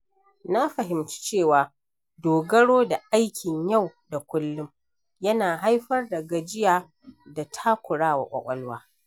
Na fahimci cewa dogaro da aikin yau da kullum yana haifar da gajiya da takurawa ƙwaƙwalwa.